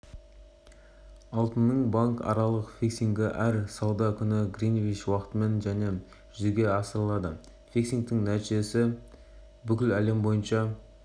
алтынның банкаралық фиксингі әр сауда күні гринвич уақытымен және жүзеге асырылады фиксингтің нәтижесі бүкіл әлем бойынша